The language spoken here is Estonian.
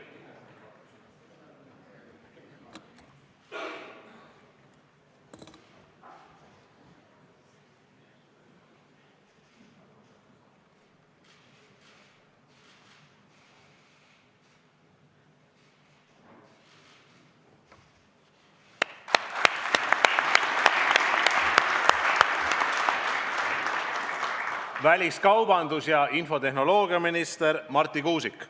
Väliskaubandus- ja infotehnoloogiaminister Marti Kuusik.